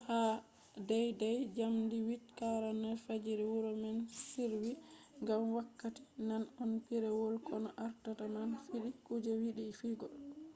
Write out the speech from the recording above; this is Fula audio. ha deydey njamdi 8:49 fajiri wuro man sirwi ngam wakkati man on pireewol koono ardata man fidi kuje yidi fidugo